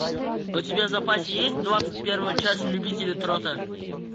у тебя в запасе есть двадцать первая часть любители трота